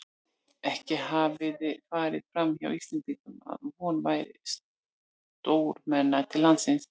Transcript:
Ekki hafði farið framhjá Íslendingum, að von væri stórmenna til landsins.